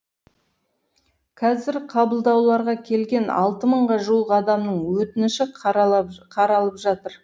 қазір қабылдауларға келген алты мыңға жуық адамның өтініші қаралып жатыр